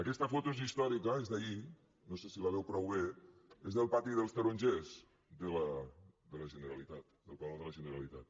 aquesta foto és històrica és d’ahir no sé si la veu prou bé és del pati dels tarongers de la generalitat del palau de la generalitat